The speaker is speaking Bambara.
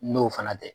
N'o fana tɛ